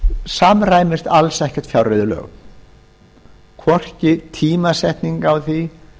samræmist alls ekki fjárreiðulögum hvorki tímasetning á því